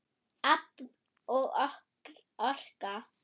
Afl og orka